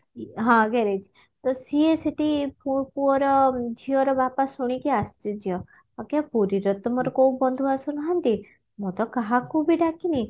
ଇ ହଁ garage ତ ସିଏ ସେଠି ପୁ ପୁଅର ଝିଅର ବାପା ଶୁଣିକି ଆଶ୍ଚର୍ଯ୍ୟ ଆଜ୍ଞା ପୁରୀରେ ତ ମୋର କଉ ବନ୍ଧୁଆସ ନାହାନ୍ତି ମୁଁ ତ କାହାକୁ ବି ଡାକିନି